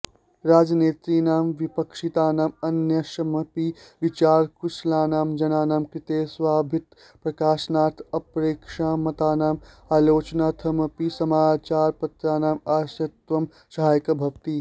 राजनेतृणां विपश्चितानां अन्येषामपि विचारकुशलानां जनानां कृते स्वाभिमतप्रकाशनार्थ अपरेषां मतानां आलोचनार्थमपि समाचारपत्राणाम् आश्रयत्वं सहायक भवति